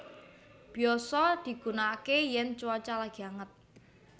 Biyasa digunakaké yèn cuaca lagi anget